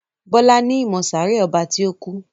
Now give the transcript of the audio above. Bola ní ìmọ sáré ọba ti o kú.